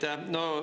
Aitäh!